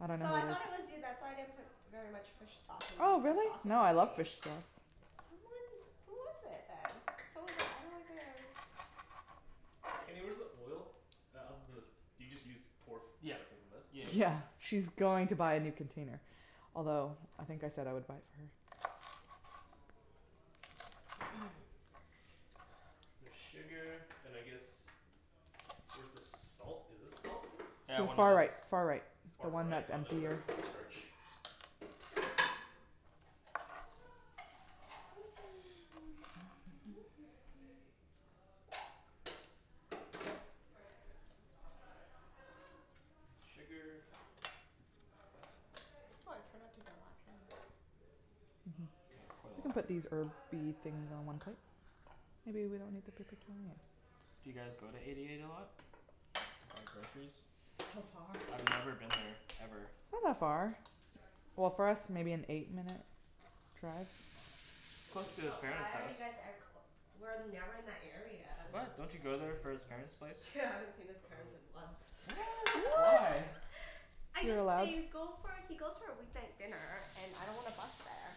I dunno So I who it is. thought it was you. That's why I didn't put very much fish sauce in Oh the really? sauces No I I love made. fish sauce. Someone, who was it then? Someone was like, I don't like it. Kenny, where's the oil? Do you just use pour f- Yeah directly from this? yeah yeah. Yeah, she's going to buy a new container, although I think I said I would buy it for her. Bit of sugar, and I guess, where's the salt, is this salt? Yeah, one of Far those right far right, the Far one right? that's Oh on no, that's corn starch. Need sugar. Why I cannot take that Mhm. Yeah, it's quite a We can lot put these herby things on one plate. Maybe we don't need to put the turnip. Do you guys go to Eighty eight a lot? To buy groceries? So far. I've never been there, ever. It's not that far. Well, for us maybe an eight minute drive. It's close to his But parents' why are house. you guys ever- w- we're never in that area. What? Don't you go there for his parents' place? Yeah, I haven't seen his parents in months. Why? What? I You're just allowed didn't go for, he goes for a weeknight dinner, and I don't wanna bus there.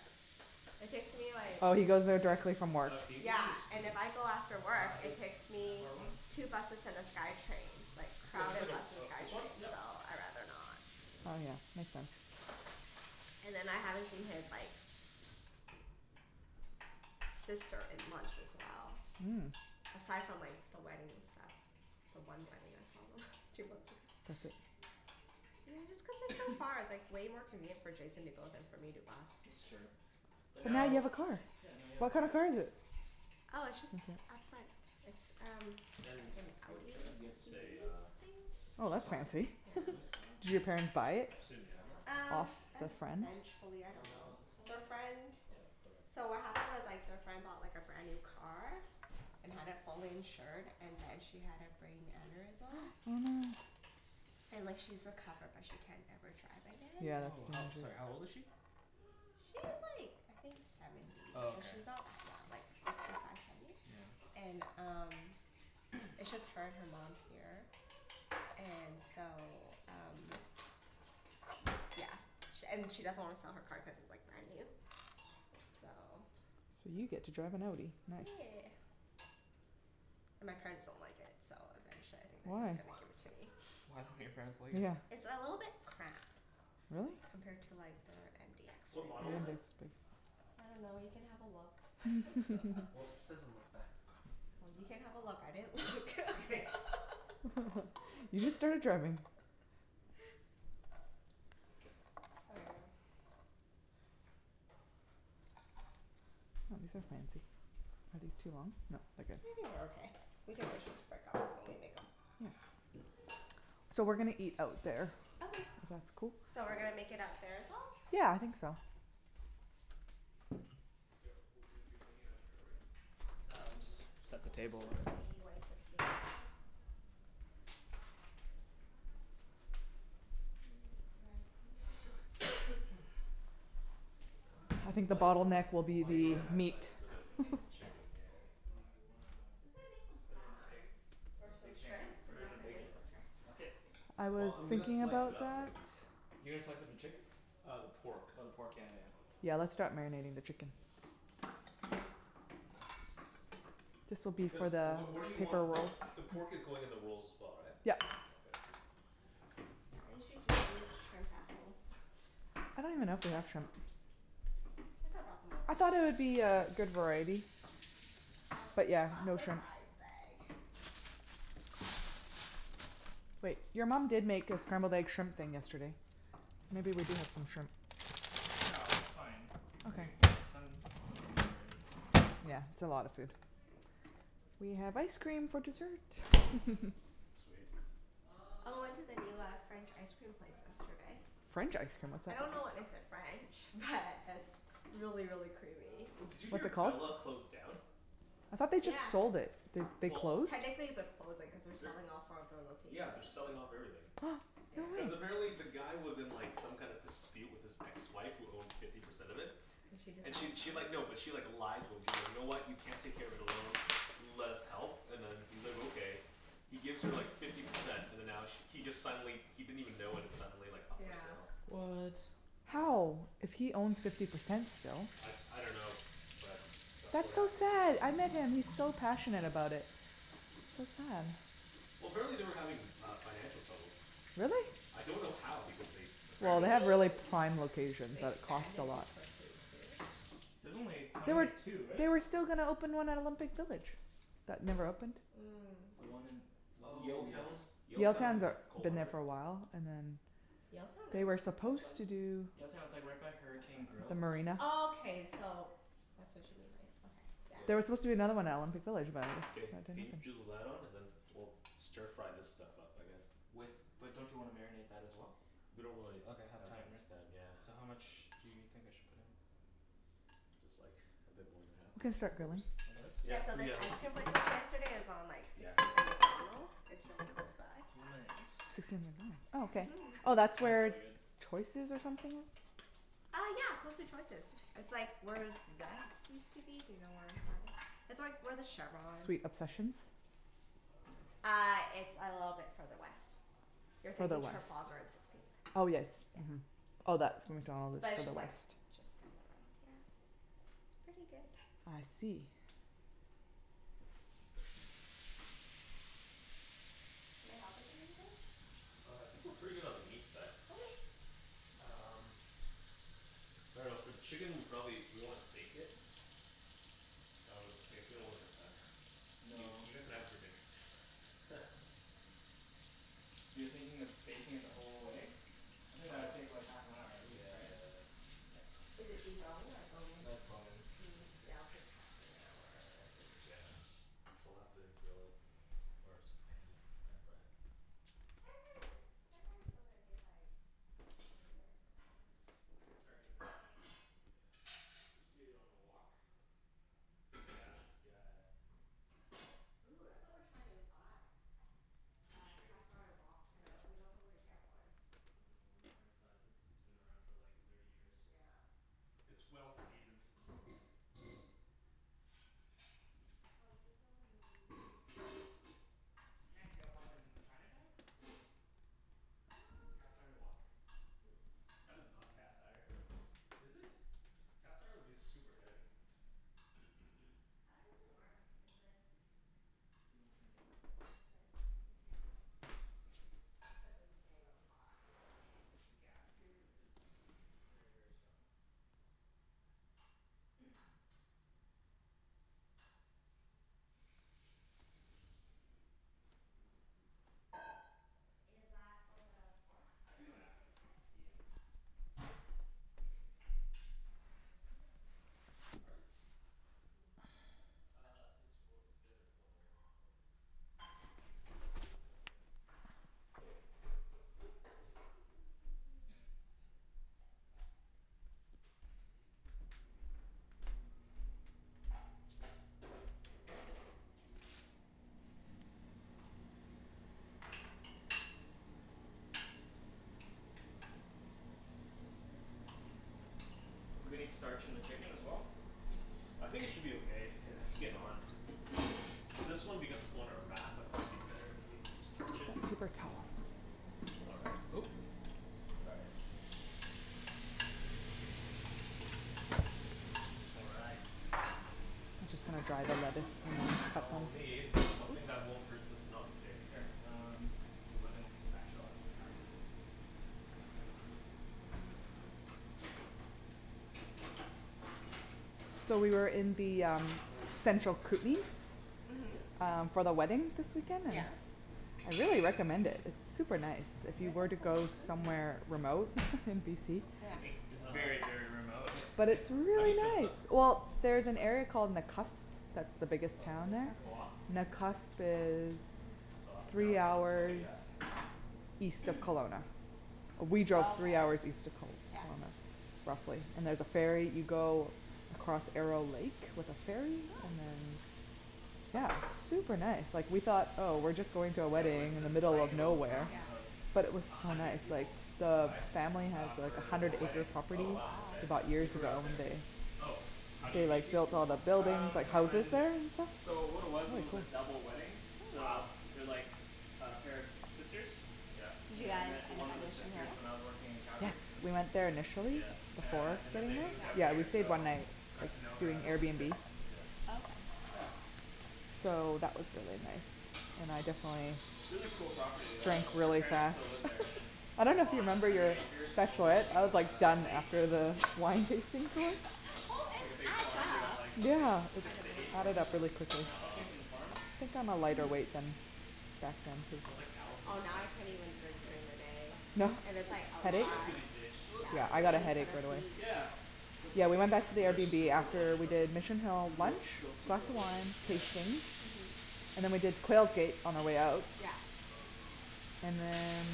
It takes me like Oh he goes there directly from work. Uh, can you give me a Yeah, and spoon? if I go after Uh, work it's it takes that me far one two buses and the Skytrain, like No, just like crowded a, bus and uh this one? Skytrain, Yep. so I rather not. Oh yeah, makes sense. And then I haven't seen his like, sister in months as well Mm. Aside from like the wedding and stuff. The one wedding I saw them, a few months ago. I see. Yeah, it's cuz they're so far. It's like way more convenient for Jason to go than for me to bus. That's true. But But now you now have a car! Yeah, now you have a What kind car. of car is it? Oh, it's just our friend, it's um Ken, like an you- can I Audi get a SUV, uh I Oh soy that's sauce? think? fancy. Soy Did sauce? your parents buy it, I assume you have that? Um, off the friend? eventually, I Uh, dunno. this Their one? friend, Okay, so what perfect. happened was like their friend bought like a brand new car, and had it fully insured and then she had a brain aneurysm. Oh no. And like she's recovered but she can't ever drive again. Yeah that's Oh how, sorry, how old is she? She's like, I think seventy. Oh So okay. she's not that young, like sixty five, seventy? Yeah. And um, it's just her and her mom here, and so um yeah. She and she doesn't want to sell her car cuz it's like brand new. So. So you get to drive an Audi, nice. Yeah. And my parents don't like it so eventually I think they're Why? just gonna give it to me. Why don't your parents like it? Yeah. It's a little bit cramped. Really? Compared to like their MDX Yeah What right model is MDX it? now. is big. I dunno you can have a look Well, it says on the back of car. Well, you can have a look I didn't look Okay. You just started driving. So yeah. Ah these are fancy. Are these too long? Nope, I they're good. think they're okay. We can always just break up the bone when we make'em. Yeah. So we're gonna eat out there Okay. If that's cool? So we're gonna make it out there as well? Yeah, I think so. Wait, w- we're, you're bringing it out there already? Yo, Yeah, we'll do we just want, do we set the want the table, pork? whatever. Should we wipe the table a bit? Uh Yes. Random threads on there. I think the Might not, bottleneck will be Do you might need not the a have time meat. for the chicken, yeah. Do you wanna We could've made some just put it in a big, prawns or some big thing, right? shrimp, Put and it in a that's like big way quicker. bucket? I was Well, I'm gonna thinking slice it about up that. though. You're gonna slice up the chicken? Uh the pork. Oh the pork, yeah Yeah, yeah let's yeah. start marinating the chicken. This will be Cuz for the what, what do you want, paper the rolls. the pork is going in the rolls as well right? Yup. Okay. I usually just use shrimp at home. I don't even know if they have shrimp. I could've brought some over. I thought there would be a good variety. But yeah, no Costco shrimp. size bag. Wait, your mom did make a scrambled egg shrimp thing yesterday. Maybe we did have some shrimp. No, it's fine. We Okay. have, we got tons, tons of meat already. Yeah it's a lot of food. We have ice cream for dessert. Sweet. I went to the new uh, French ice cream place yesterday. French icecream, what's I that? dunno what makes it French, but it's really really creamy. Did you What's hear it called? Bella closed down? I thought they just Yeah. sold it. They they Well. closed? Technically they're closing cuz they're selling off four of their Yeah, they're locations. selling off everything. Yeah. No Cuz way. apparently the guy was in like some kind of dispute with his ex-wife who owned fifty percent of it. And she And she decides to she sell like, it? no, but she like, lied to him. She's like, "You know what, you can't take care of the it alone, let us help" and then he's like, "Okay." He gives her like fifty percent and then now sh- he just suddenly he didn't even know when it's suddenly like up for Yeah. sale. What? How! If he owns fifty percent still. I, I dunno, but that's what That's so happened. sad! I met him he's so passionate about it. That's sad. Well, apparently they were having uh financial troubles. Really? I don't know how because they Well they apparently Maybe have really prime locations they so it's cost a expanded too lot. quickly, too. There's only, how They were many, two, right? they were still gonna open one at Olympic village that never opened. Mm. The one in, oh yes Yaletown, Yaletown, Yaletown, they're, coal been there harbour. for a while and then Yaletown, They really? were supposed to do Yaletown, it's like right by Hurricane The Grill marina. Oh, okay so that's what she mean by it, okay, There were supposed to be yeah. another one out in Olympic Village but Ken, it can you drew the light on and then was we'll stir fry this stuff up I guess. With, but don't you wanna marinate that as well? We don't really Ok, have have that time right? much time yeah. So how much do you think I should put in? Just like a bit more than half, We can like three start grilling. quarters. Like Yeah, Yeah, so this this? ice let's cream keep place we it. went to yesterday is on like Yeah. sixteenth and Macdonald. It's really close by. Sixteenth avenue, oh okay. Oh It that's Mhm. smells where really good. Choices or something was? Uh yeah! Close to Choices. It's like where Zest used to be, you know where that is? It's where where the Chevron Sweet Obsessions? Uh, it's a little bit further west. You're Further thinking west. Trafalgar and sixteenth. Oh yes, mhm. Yeah. Oh that But to it's the just like, west. just. It's pretty good. I see. Can I help with anything? Uh, I think we're pretty good on the meat side. Okay! Um, I dunno for the chicken we probably, do we wanna bake it? I w- I guess we don't really have time. You No. guys can have it for dinner. You're thinking of baking it the whole way? I think that would take like half an hour at Yeah, least, right? yeah, yeah. Is it deboned or bone-in? No, it's bone-in. Hm, yeah, it'll take half an hour, I think. Yeah. So we'll have to grill it first. Pan pan-fry it. pan-frying it, pan-frying it's still gonna take like twenty minutes, I dunno. I can start doing that right now. Yeah. Just do it on a wok. Yeah, yeah, yeah. Ooh, that's what we were trying to buy. Uh cast Chinese iron Oh wok? wok. We're not, we dunno where to really? get one. Well, I dunno where my parents got it. This has been around for like thirty years. Yeah. It's well-seasoned. Ah, this is so yummy. You can't get one in Chinatown? Uh. A cast iron wok? That is not cast iron. Is it? Cast iron would be super heavy. How's this thing work? Is this Do you wanna turn it down? How Yeah, do I turn there it down? you go. This is Yeah down? Oh okay. It's cuz this is getting really hot. Yeah. The gas here is very very strong. Is that for the pork, the non-stick pan? Yeah. Yep Do you need some oil in it or you already Pardon? Do you need some oil? Uh, it's oil, there is oil in it already. Do we need starch in the chicken as well? I think it should be okay, it's skin-on. Well, this one because it's going in a wrap I thought it would be better if we starch it? Paper towel. All right, oop! All right, Just gonna dry the lettuce in. now I'll need Oops. something that won't hurt this non-stick. Here, um, it's a wooden spatula So we were in the um central Kootenays Mhm. Um for the wedding this weekend Yeah. and I really recommend it, it's super nice, if you Where's were to go that Kootenays? somewhere remote in BC. It's very, very remote. Hey, But Ken? it's How do really you turn this nice! up? Well, there's an area called Nakusp, that's the biggest Oh did town it there. go off? Nakusp is It's off, now three it's on. Ok hours yeah. east of Kelowna. We Oh drove three okay. hours east of Kel- Yeah. Kelowna Roughly. And there's a ferry you go across Arrow Lake with the ferry Oh! and then. Yeah, it's super nice. Like we thought oh we're just going to a Yeah, we went wedding to in the this middle of tiny little nowhere. town of But it Yeah. was a so hundred nice, like people. the Why? family has Uh, like a for hundred a wedding. acre Oh property wow, okay. They bought They years grew ago up there. and they, Oh, how do you they meet like these built all the people? buildings, Um, like houses on, there and stuff, so what it was, it really was a cool. double wedding, Cool. so Wow. They're like a pair of sisters Yeah. Did you And I guys met end one up of at the Mission sisters hill? when I was working in Yes, Calgary we went there initially, Yeah. Uh before and then staying they there moved out Yeah, we here stayed Yeah. one so night with, got to know her through other sister, Airbnb. Oh, okay. yeah. So that was really nice. And I definitely Really cool property though drank like her really parents fast. still live there, and it's I dunno if you on a remember hundred your acres I overlooking was like a, a done lake. after the wine tasting tour. Who It's is like a big farm, they got like six, Yeah, it six to eight added horses, up really quickly. I think, on the farm. Wow. I think i'm a lighter weight then. I was like. Oh, now I can't even drink Yeah. during the day. No? And it's like, I'll What's Headache? she up try. to these days, she looks. Yeah. Yeah I got a headache right away. Yeah, but Yeah we she- went back to the Well, they're airbnb super after religious. we did Mission Hill lunch plus the wine tasting, and then we did Quail Gate on our way out. Yeah. And then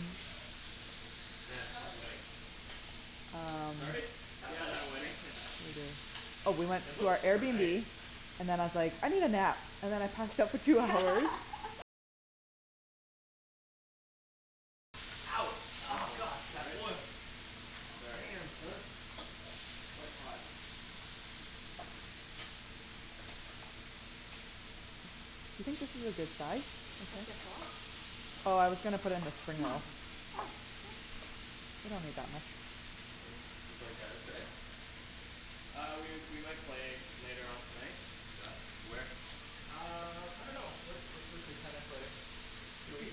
Man, that wedding. um, what Sorry? did Yeah, the wedding. we do. Oh we went It to looks our super nice. Airbnb, and then I was like I need a nap, and then I passed out for two hours Ouch! Oh Careful. god! That oil. Sorry. Damn, son. It's quite hot. You think this is a good size? Oh I was gonna put in the spring roll. Oh, okay. We don't need that much. Did you play tennis today? Uh we we might play later on tonight. Yeah? Where? Uh, I dunno. Where where should we play tennis later? QE?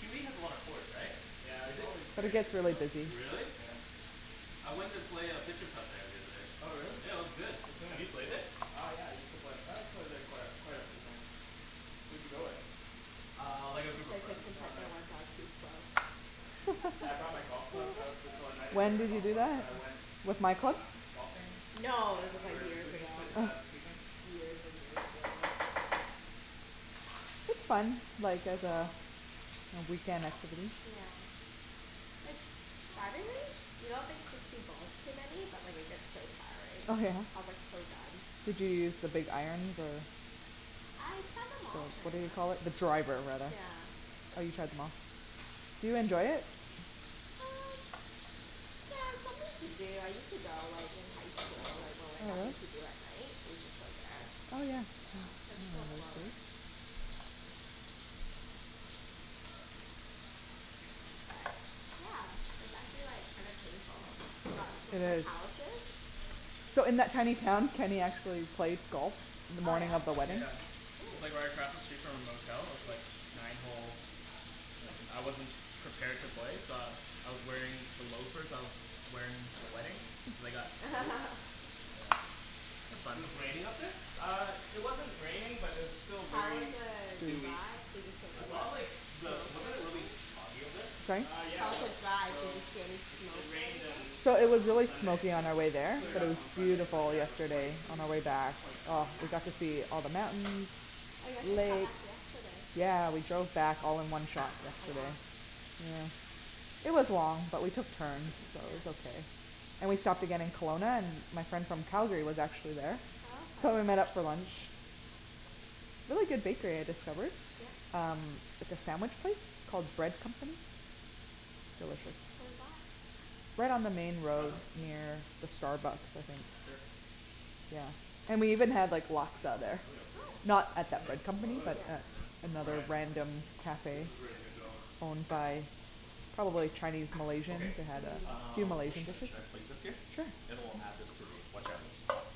QE has a lot of courts, right? Yeah. It's always very busy though. Really? Yeah. I went and play uh there the other day. Oh really? Yeah, it was good. Have you played it? Uh yeah, I used to play, I played there quite a, quite a few times. Who'd you go with? Uh, like a I group of played like friends. Oh nice. once. I was too slow. Yeah, I brought my golf clubs, I was, oh well I didn't bring When my did you golf do clubs but that? I went With Michael? um, golfing No, this when was we were like in the years Kootenays ago. s- uh this weekend. Years and years ago. It's fun. Like there's a, a weekend activity. Yeah. Like surprisingly, you don't think sixty balls's too many but it like gets so tiring. Oh yeah? I was like, so done. Did you use the big iron the I tried them The all what pretty do much. you call it, the driver rather. Yeah. Oh you tried em all. Do you enjoy it? Uh, yeah, it's something to do. I used to go like in highschool, like when we had nothing to do at night, we'd just go there. Oh yeah. Yeah, but it's so close. But, yeah. It's actually like kinda painful. I got two of my calluses. So in that tiny town, Kenny actually plays golf In the Oh morning yeah? of the wedding. Yeah, It was Cool! like right across the street from our motel, with like nine holes, and I wasn't prepared to play so I, I was wearing the loafers that I was wearing to the wedding, and they got soaked, yeah, it was It fun. was raining up there? Uh, it wasn't raining but it was still How was very the dewy drive? I and thought wet. of like, the, wasn't it really smoggy up there? Uh yeah it was. So it it rained on So it was uh on really Sunday smoky so, on our way it there cleared But up it was on Hmm. Sunday but beautiful yeah it was quite yesterday on our way back. quite Oh, foggy. we got to see all the mountains, Oh, you guys just got lakes. back yesterday. Yeah, we drove back all in one shot Oh wow. yesterday. Yeah, it was long but we took turns so Yeah. it was okay. And we stopped again in Kelowna and my friend from Calgary was actually there Oh okay. So we met up for lunch. Really good bakery I discovered. Yeah? Um, like a sandwich place, called Bread Company? Delicious. Where's that? Right on the main Try road them? near the Starbucks I think, Here. yeah. And we even had like, Laksa there. Cool! Not at that Mm. Bread That's Company really but good. Yeah, a, all another right. random This cafe is ready to go. owned by probably Chinese Malaysians, Okay, who had a few uh, where Malaysian should I, dishes. should I plate this here? Sure. Then we'll add this to the.